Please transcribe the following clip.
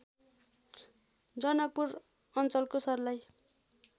जनकपुर अञ्चलको सर्लाही